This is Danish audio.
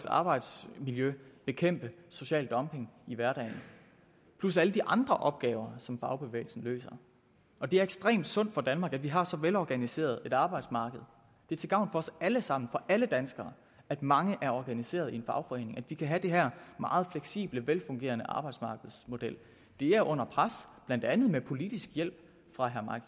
arbejdsmiljø bekæmpe social dumping i hverdagen plus alle de andre opgaver som fagbevægelsen løser og det er ekstremt sundt for danmark at vi har så velorganiseret et arbejdsmarked det er til gavn for os alle sammen for alle danskere at mange er organiseret i en fagforening og at vi kan have den her meget fleksible og velfungerende arbejdsmarkedsmodel det er under pres blandt andet med politisk hjælp fra herre mike